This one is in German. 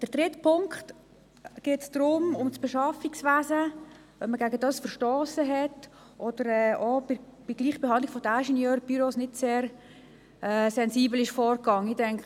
Beim dritten Punkt geht es darum, ob man gegen die Bestimmungen betreffend das Beschaffungswesen verstossen hat oder ob man bei der Gleichbehandlung der Ingenieurbüros nicht sehr sensibel vorgegangen ist.